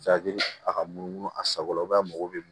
a ka munumunu a sago la a mago bɛ mun